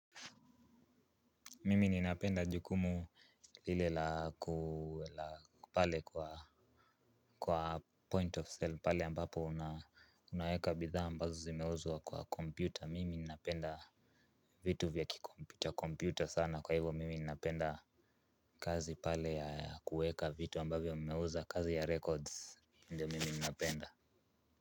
Mimi ninapenda jukumu lile la pale kwa 'point of sale' pale ambapo unaweka bidhaa ambazo zimeuzwa kwa kompyuta. Mimi ninapenda vitu vya kikompyuta kompyuta sana. Kwa hivo mimi ninapenda kazi pale ya kuweka vitu ambavyo mmeuza kazi ya 'records.' Ndio mimi ninapenda.